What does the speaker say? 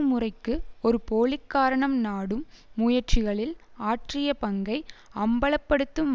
முறைக்கு ஒரு போலி காரணம் நாடும் முயற்சிகளில் ஆற்றிய பங்கை அம்பலப்படுத்தும்